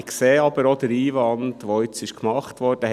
Ich sehe aber auch den Einwand, der jetzt gemacht wurde.